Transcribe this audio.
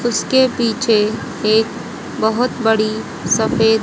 उसके पीछे एक बहोत बड़ी सफे--